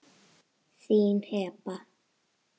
Þín Heba.